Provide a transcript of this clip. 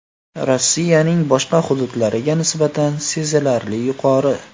Rossiyaning boshqa hududlariga nisbatan sezilarli yuqori.